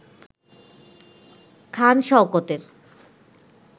খান শওকতের